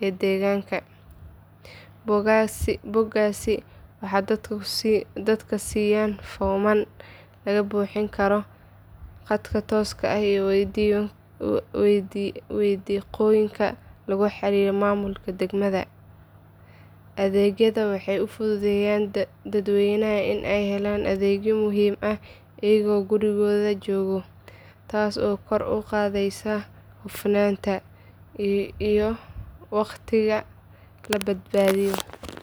ee deegaanka. Bogaggaasi waxay dadka siiyaan foomam laga buuxin karo khadka tooska ah iyo wadiiqooyin lagula xiriiro maamulka degmada. Adeegyadan waxay u fududeeyaan dadweynaha in ay helaan adeegyo muhiim ah iyagoo gurigooda jooga, taas oo kor u qaadaysa hufnaanta iyo waqtiga la badbaadiyo.